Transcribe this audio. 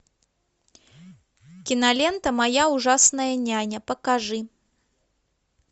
кинолента моя ужасная няня покажи